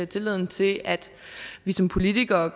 tilliden til at vi som politikere